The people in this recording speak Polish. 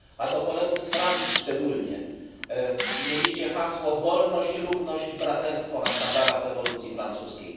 A do kolegów z Francji szczególnie mieliście hasło Wolność, równość, braterstwo na sztandarach rewolucji francuskiej.